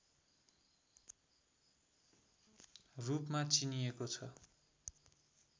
रूपमा चिनिएको छ